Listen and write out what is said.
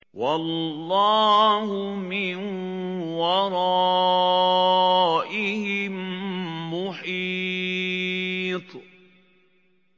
وَاللَّهُ مِن وَرَائِهِم مُّحِيطٌ